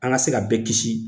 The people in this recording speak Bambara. An ka se ka bɛɛ kisi.